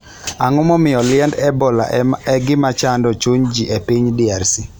Ang'o momiyo liend Ebola en gima chando chuny ji e piny DRC?